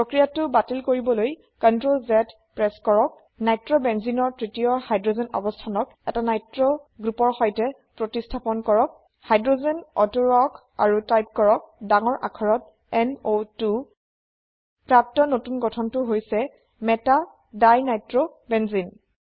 প্ৰক্ৰিয়াটো বাতিল কৰিবলৈ CTRLZ প্ৰেস কৰক Nitrobenzeneৰ তৃতীয় হাইড্ৰোজেন অবস্থানক এটা নিত্ৰ গ্ৰোপৰ সৈতে প্ৰতিস্হাপন কৰক হাইড্ৰোজেন অতৰুবাওকআৰু টাইপ কৰক ডাঙৰ আখৰত N O 2 প্ৰাপ্ত নতুন গঠনটো হৈছে meta দিনিত্ৰবেনজেনে